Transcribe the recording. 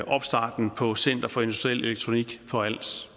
opstarten på center for industriel elektronik på als